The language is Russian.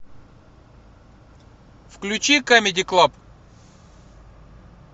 включи камеди клаб